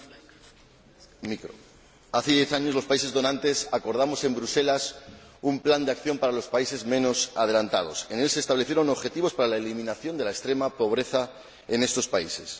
Señor Presidente, hace diez años los países donantes acordamos en Bruselas un plan de acción para los países menos adelantados. En él se establecieron objetivos para la eliminación de la extrema pobreza en estos países.